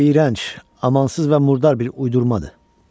Bu iyrənc, amansız və murdar bir uydurmadır.